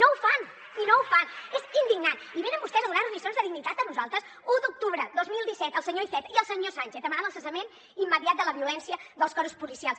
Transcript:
i no ho fan i no ho fan és indignant i venen vostès a donar nos lliçons de dignitat a nosaltres u d’octubre dos mil disset el senyor iceta i el senyor sánchez demanant el cessament immediat de la violència dels cossos policials